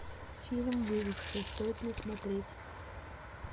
фильм выживший стоит ли смотреть